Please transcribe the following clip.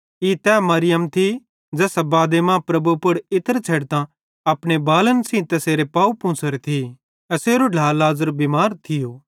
ई तैए मरियम थी ज़ैसां बादे मां प्रभु पुड़ खुशबुदार तेल छ़ेडतां अपने बालन सेइं तैसेरे पाव पूंछ़ोरे थी एसेरो ढ्ला लाज़र बिमार थियो